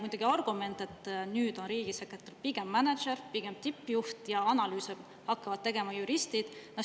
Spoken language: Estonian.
Teie argument on, et nüüd on riigisekretär pigem mänedžer, tippjuht, ja analüüse hakkavad tegema juristid.